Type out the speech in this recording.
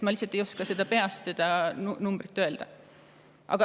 Ma lihtsalt ei oska peast seda numbrit öelda.